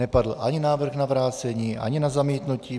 Nepadl ani návrh na vrácení, ani na zamítnutí.